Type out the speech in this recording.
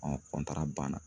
banna